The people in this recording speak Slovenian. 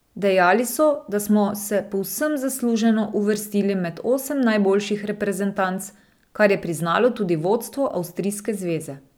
Dejali so, da smo se povsem zasluženo uvrstili med osem najboljših reprezentanc, kar je priznalo tudi vodstvo avstrijske zveze.